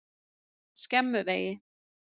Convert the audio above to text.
Skemmuvegi